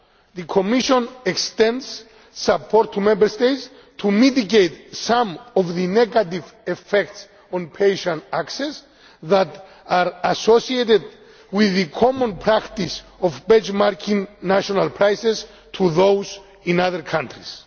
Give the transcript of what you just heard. The Commission also extends support to Member States to mitigate some of the negative effects on patient access that are associated with the common practice of benchmarking national prices to those in other countries.